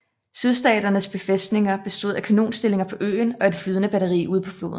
Sydstaternes befæstninger bestod af kanonstillinger på øen og et flydende batteri ude på floden